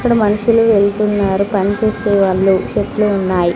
ఇక్కడ మనుషులు వెళ్తున్నారు పనిచేసే వాళ్ళు చెట్లు ఉన్నాయి.